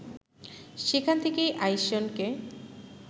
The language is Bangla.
সেখান থেকেই আইসনকে